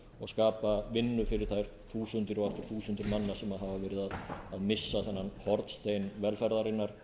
og skapa vinnu fyrir þær þúsundir og aftur þúsundir manna sem hafa verið að missa þennan hornstein velferðarinnar